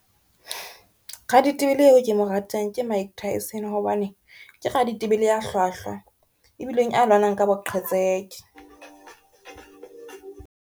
Raditebele eo ke mo ratang ke Mike Tyson hobane ke raditebele ya hlwahlwa, ebileng a lwanang ka boqhetseke.